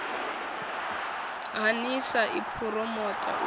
ha nlsa i phuromotha u